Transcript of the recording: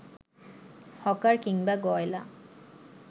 hawker কিংবা গয়লা